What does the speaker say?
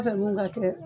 ka kɛ